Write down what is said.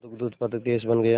दुग्ध उत्पादक देश बन गया